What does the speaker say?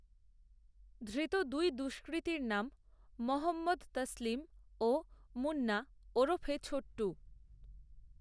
ধৃত দুই দষ্কৃতীর নাম মহম্মদতসলিম ও মুন্নাওরফে ছোট্টু